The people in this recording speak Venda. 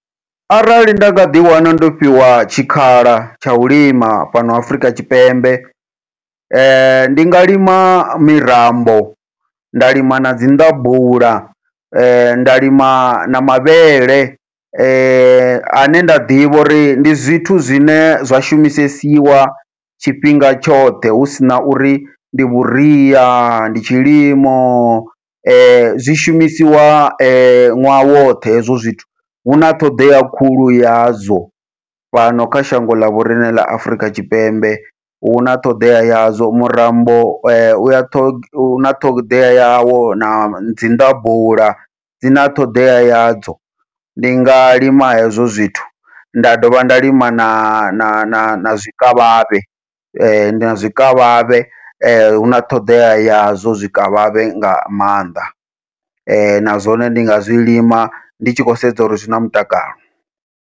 Arali nda nga ḓi wana ndo fhiwa tshikhala tsha u lima fhano Afrika Tshipembe, ndi nga lima mirambo, nda lima nadzi nḓabula, nda lima na mavhele, ane nda ḓivha uri ndi zwithu zwine zwa shumisesiwa tshifhinga tshoṱhe, hu sina uri ndi vhuria ndi tshilimo zwi shumisiwa ṅwaha woṱhe hezwo zwithu. Huna ṱhoḓea khulu yazwo fhano kha shango ḽa vhoriṋe ḽa Afurika Tshipembe huna ṱhoḓea yazwo murambo uya huna ṱhoḓea yawo na dzi nḓabula dzina ṱhoḓea yadzo, ndi nga lima hezwo zwithu nda dovha nda lima na na na na zwikavhavhe, na zwikavhavhe huna ṱhoḓea ya zwo zwikavhavhe nga maanḓa na zwone ndi nga zwi lima ndi tshi khou sedza uri zwina mutakalo.